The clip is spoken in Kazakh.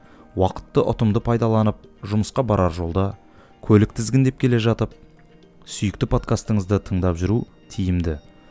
уақытты ұтымды пайдаланып жұмысқа барар жолда көлік тізгіндеп келе жатып сүйікті подкастыңызды тыңдап жүру тиімді